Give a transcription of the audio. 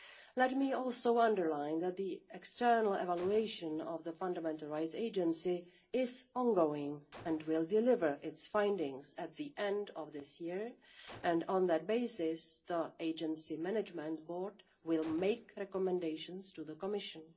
Let me also underline that the external evaluation of the Fundamental Rights Agency is ongoing and will deliver its findings at the end of this year, and on that basis, the Agency's Management Board will make recommendations to the Commission.